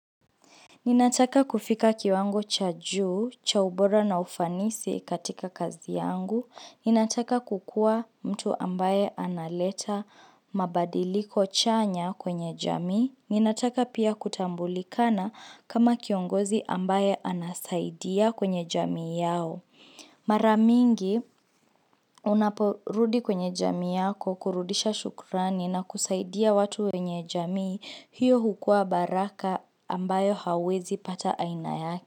Ninataka kufika kiwango cha juu, cha ubora na ufanisi katika kazi yangu. Ninataka kukuwa mtu ambaye analeta mabadiliko chanya kwenye jamii. Ninataka pia kutambulikana kama kiongozi ambaye anasaidia kwenye jamii yao. Mara mingi unaporudi kwenye jamii yako kurudisha shukurani na kusaidia watu wenye jamii hiyo hukua baraka ambayo huwezi pata aina yake.